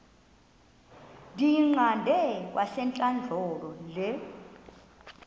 ndiyiqande kwasentlandlolo le